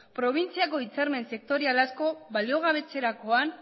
probintziako hitzarmen sektorial asko baliogabetzerakoan